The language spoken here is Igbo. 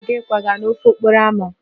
Onye na-aga ịkwaga n'ofe okporo ámá